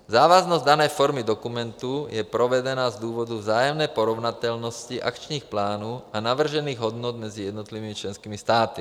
Závaznost dané formy dokumentu je provedena z důvodu vzájemné porovnatelnosti akčních plánů a navržených hodnot mezi jednotlivými členskými státy.